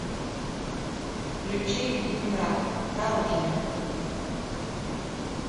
включи ленинград дорожная